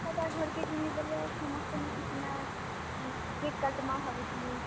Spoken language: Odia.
ହେଟା ଘର୍ କେ ଯିମି ବେଲେ ସମସ୍ତେ ମିଶିକିନା cake କାଟ୍ ମା ଭାବୁଥିଲି।